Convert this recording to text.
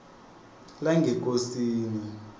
langekosini